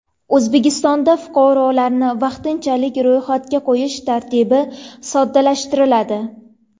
O‘zbekistonda fuqarolarni vaqtinchalik ro‘yxatga qo‘yish tartibi soddalashtiriladi.